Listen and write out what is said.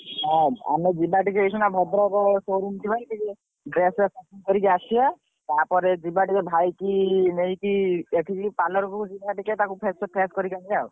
ହଁ ଆମେ ଯିବ ଟିକେ ଏଇଖିନା ଭଦ୍ରକ showroom ଯିବା dress ଫ୍ରେସ shopping କରିକି ଆସିବା ତାପରେ ଯିବା ଟିକେ ଭାଇକି ନେଇକି ଏଠିକି ପଲଅର କୁ ନେଇକି ଯିବା ଟିକେ ତାକୁ fresh କରିକି ଆନିବା ଆଉ।